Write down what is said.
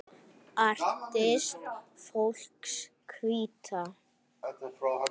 Artist fólks Hvíta.